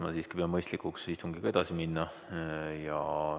Ma siiski pean mõistlikuks istungiga edasi minna.